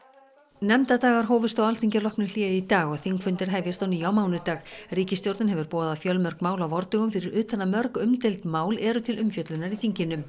nefndadagar hófust á Alþingi að loknu hléi í dag og þingfundir hefjast á ný á mánudag ríkisstjórnin hefur boðað fjölmörg mál á vordögum fyrir utan að mörg umdeild mál eru til umfjöllunar í þinginu